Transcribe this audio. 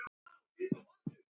Jú, er það ekki?